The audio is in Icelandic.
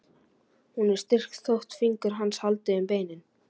Hún er styrk þótt fingur hans haldi um beinin.